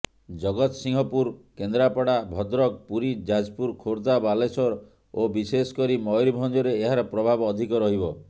ଜଗତସିଂହପୁର କେନ୍ଦ୍ରପଡା ଭଦ୍ରକ ପୁରୀ ଯାଜପୁର ଖୋଦ୍ଧା ବାଲେଶ୍ୱର ଓ ବିଶେଷକରି ମୟୁରଭଞ୍ଜରେ ଏହାର ପ୍ରଭାବ ଅଧିକ ରହିବ